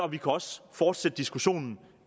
kan også fortsætte diskussionen